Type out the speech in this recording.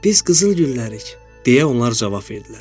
Biz qızıl güllərik, deyə onlar cavab verdilər.